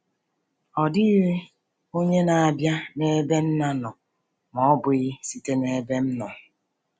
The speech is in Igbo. “Ọ dịghị onye na-abịa n’ebe Nna nọ ma ọ bụghị site n’ebe m nọ.”